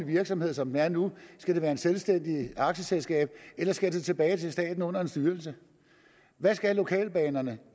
virksomhed som den er nu skal det være et selvstændigt aktieselskab eller skal det tilbage til staten under en styrelse hvad skal lokalbanerne